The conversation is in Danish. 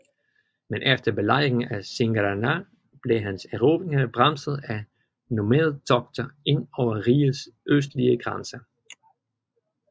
Men efter belejringen af Singara blev hans erobringer bremset af nomadetogter ind over rigets østlige grænser